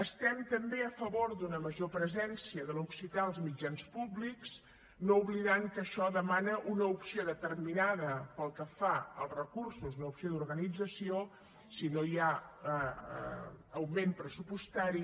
estem també a favor d’una major presència de l’occità als mitjans públics no oblidant que això demana una opció determinada pel que fa als recursos una opció d’organització si no hi ha augment pressupostari